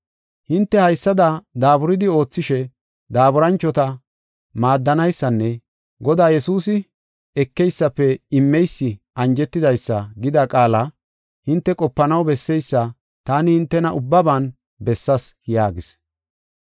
Hinte haysada daaburidi oothishe daaburanchota maaddanaysanne Godaa Yesuusi, ‘Ekeysafe immeysi anjetidaysa’ gida qaala hinte qopanaw besseysa taani hintena ubbaban bessaas” yaagis.